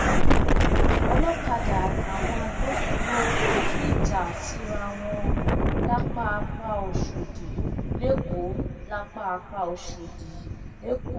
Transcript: olọkadà àtàwọn agbófinró kọjú ìjà síra wọn lápàpáòshòdì lẹkọọ lápàpáòshòdì lẹkọọ